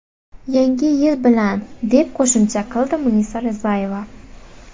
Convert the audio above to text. Yangi yil bilan!”, deb qo‘shimcha qildi Munisa Rizayeva.